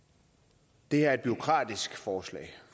det her er et bureaukratisk forslag